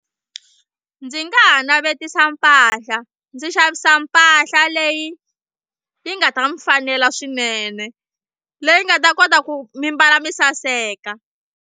Ndzi nga ha navetisa mpahla ndzi xavisa mpahla leyi yi nga ta mi fanela swinene leyi nga ta kota ku mi mbala mi saseka.